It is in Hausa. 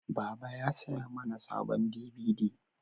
Baba ya saya mana sabon dibidi